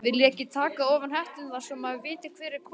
Viljiði ekki taka ofan hetturnar svo maður viti hver er kominn?